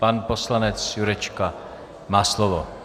Pan poslanec Jurečka má slovo.